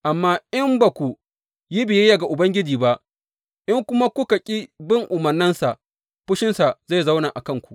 Amma in ba ku yi biyayya ga Ubangiji ba, in kuma kuka ƙi bin umarnansa, fushinsa zai zauna a kanku.